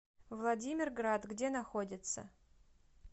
владимирград где находится